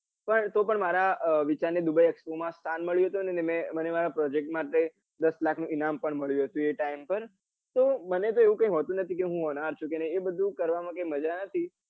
પણ તો પણ મારા વિચાર ને dubai expert માં સ્થાન મળ્યું તું અને મને મારા project માટે દસ લાખ નું ઇનામ પણ મળ્યું હતું એ time પર તો મને તો એવું કઈ હોતું નથી હું હોનહાર છું કે નહિ એ બધું કરવા મમા કાઈ મજા નથી.